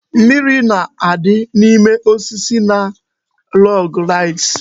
Mimiri na-adị n'ime osisi na log rides